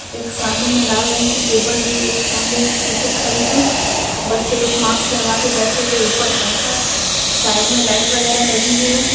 एक सामने में लाल रंग की टेबल भी है सामने में एक टीचर खड़ी है बच्चे लोग मास्क लगा के बैठे हुए है ऊपर पंखा साइड में लाइट वगेरा लगी हुई हैं ।